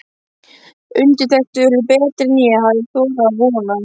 Undirtektir urðu betri en ég hafði þorað að vona.